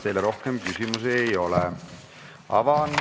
Teile rohkem küsimusi ei ole.